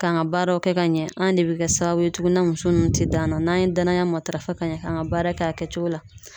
K'an ka baaraw kɛ ka ɲɛ an de be kɛ sababu ye tuguni na muso nunnu te d'an na n'an ye danaya matarafa ka ɲɛ k'an ka baara kɛ a kɛcogo la